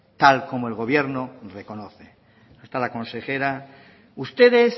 tal como el gobierno reconoce está la consejera ustedes